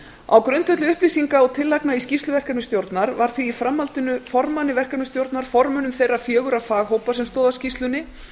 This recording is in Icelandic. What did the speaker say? á grundvelli upplýsinga og tillagna í skýrslu verkefnisstjórnar var því í framhaldinu formanni verkefnisstjórnar formönnum þeirra fjögurra faghópa sem stóðu að skýrslunni